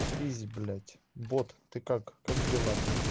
ись блять бот ты как как дела блять